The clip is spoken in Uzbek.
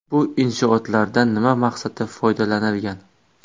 Bu inshootlardan nima maqsadda foydalanilgan?